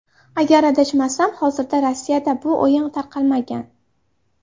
Agar adashmasam, hozircha Rossiyada bu o‘yin tarqalmagan.